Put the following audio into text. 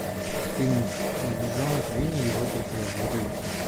фильмик медвежонок винни и его друзья вруби